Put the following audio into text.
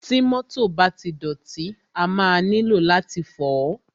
Ti mọ́tọ̀ bá ti dọ̀tí, a máa nílò láti fọ̀ọ́.